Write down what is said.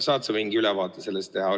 Saad sa mingi ülevaate sellest teha?